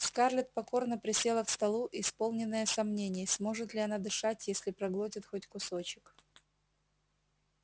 скарлетт покорно присела к столу исполненная сомнений сможет ли она дышать если проглотит хоть кусочек